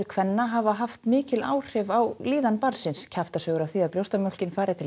kvenna hafa haft mikil áhrif á líðan barnsins kjaftasögur af því að brjóstamjólkin fari til